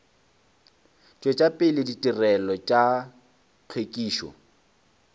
tšwetša pele ditirelo tša hlwekišo